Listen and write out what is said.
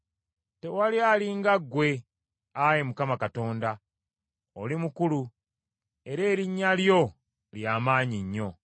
Tewali ali nga ggwe, Ayi Mukama Katonda. Oli mukulu, era erinnya lyo ly’amaanyi nnyo.